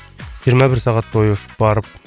жиырма бір сағат бойы барып